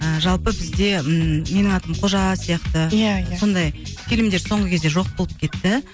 ыыы жалпы бізде ыыы менің атым қожа сияқты иә иә сондай фильмдер соңғы кезде жоқ болып кетті